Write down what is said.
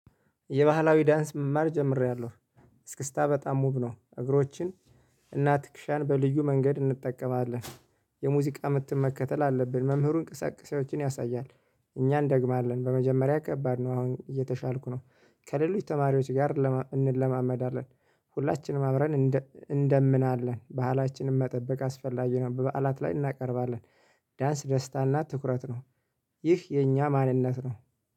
የባህላዊ ዳንስ መማር ጀምሬያለሁ። እስክስታ በጣም ውብ ነው። እግሮችን እና ትክሻን በልዩ መንገድ እንጠቀማለን። የሙዚቃ ምትም መከተል አለብን መምህሩን እንቅስቀሴዎችን ያሳያል። እኛ እንደግማለን በመጀመሪያ ከባድ ነው አሁን እየተሻልኩ ነው። ከሌሎች ተማሪዎች ጋር እንለማመዳለን። ሁላችንም አብረን እንደምናለን ባህላችንን መጠበቅ አስፈላጊ ነው። በበዓላት ላይ እናቀርባለን። ዳንስ ደስታ ትኩረት ነው። ይህ የእኛ ማንነት ነው